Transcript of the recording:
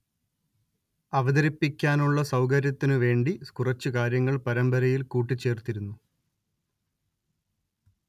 അവതരിപ്പിക്കാനുള്ള സൗകര്യത്തിനു വേണ്ടി കുറച്ച് കാര്യങ്ങൾ പരമ്പരയിൽ കൂട്ടിച്ചേർത്തിരുന്നു